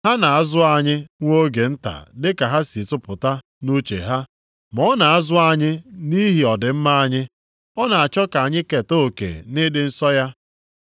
Ha na-azụ anyị nwa oge nta dị ka ha si tụpụta nʼuche ha. Ma ọ na-azụ anyị nʼihi ọdịmma anyị. Ọ na-achọ ka anyị keta oke nʼịdị nsọ ya.